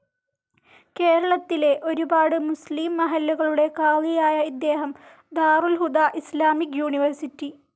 കേരളത്തിലെ ഒരുപാട് മുസ്ലിം മഹല്ലുകളുടെ ഖാദിയായ ഇദ്ദേഹം ദാരുൽ ഹുദ ഇസ്സാമിക് യൂണിവേഴ്സിറ്റി.